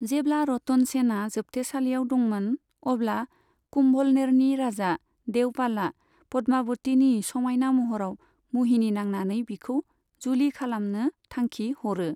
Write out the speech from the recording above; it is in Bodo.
जेब्ला रतन सेनआ जोबथेसालियाव दंमोन, अब्ला कुंभलनेरनि राजा देवपालआ पद्मावतीनि समायना महराव मुहिनि नांनानै बिखौ जुलि खालामनो थांखि हरो।